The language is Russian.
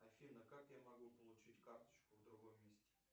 афина как я могу получить карточку в другом месте